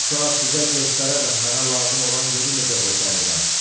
Bu saat sizə göstərərəm mənə lazım olan yeri necə boşaldıram.